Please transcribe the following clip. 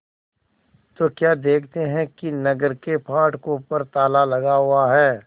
तो क्या देखते हैं कि नगर के फाटकों पर ताला लगा हुआ है